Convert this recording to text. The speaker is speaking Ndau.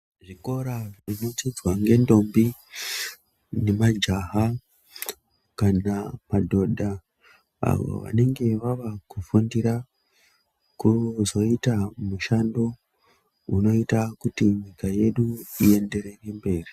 Zvikora zvinodzidzwa ngendombi nemajaha kana madhodha. Avo vanenge vava kufundira kuzoita mushando unoita kuti nyika yedu ienderere mberi.